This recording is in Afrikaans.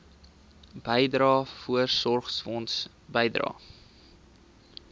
bydrae voorsorgfonds bydrae